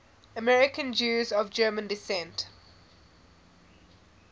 american jews of german descent